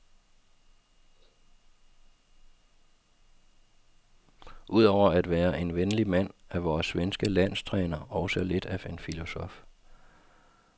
Ud over at være en venlig mand er vores svenske landstræner også lidt af en filosof.